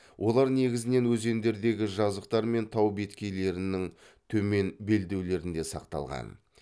олар негізінен өзендердегі жазықтар мен тау беткейлерінің төмен белдеулерінде сақталған